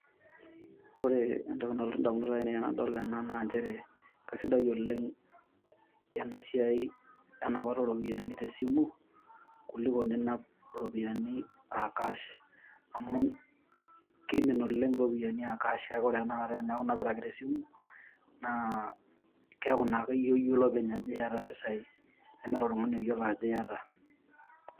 Ore entoki nalotu indamunot aainei enadol ena naa nchere kasidai oleng' ena siai enapata ooropiyani tesimu, kuliko ninap iropiyiani aa cash. Amu kiimin oleng' iropiyani aa cash kake ore eneeku inapita ake tesimu, keeku iyie ake oyiolo openy ajo iyata iimpisai, nemeeta oltung'ani oyiolo ajo iyata